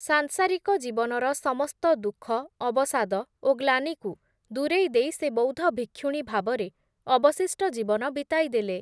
ସାଂସାରିକ ଜୀବନର ସମସ୍ତ ଦୁଃଖ, ଅବସାଦ ଓ ଗ୍ଳାନିକୁ ଦୂରେଇ ଦେଇ ସେ ବୌଦ୍ଧ ଭିକ୍ଷୁଣୀ ଭାବରେ ଅବଶିଷ୍ଟ ଜୀବନ ବିତାଇ ଦେଲେ ।